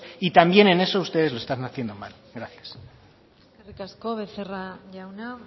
y también en eso ustedes lo están haciendo mal gracias eskerrik asko becerra jauna